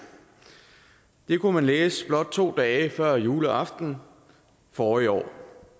det kunne man læse blot to dage før juleaften forrige år